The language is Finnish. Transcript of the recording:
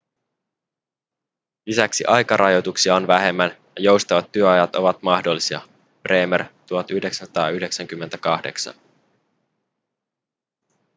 lisäksi aikarajoituksia on vähemmän ja joustavat työajat ovat mahdollisia bremer 1998